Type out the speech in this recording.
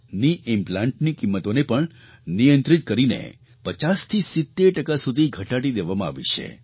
કેની ઇમ્પ્લાન્ટ ની કિંમતોને પણ નિયંત્રિત કરીને 50થી 70 ટકા સુધી ઘટાડી દેવામાં આવી છે